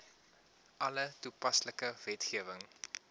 alle toepaslike wetgewing